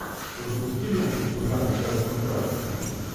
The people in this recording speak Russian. запусти ленту в жанре короткометражка